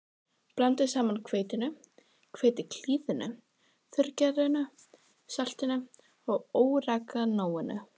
Blandið saman hveitinu, hveitiklíðinu, þurrgerinu, saltinu og óreganóinu.